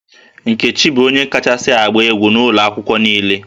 Nkechi bụ onye kachasị agba egwu n'ụlọ akwụkwọ a niile